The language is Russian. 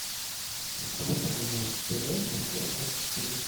включай на тв москва двадцать четыре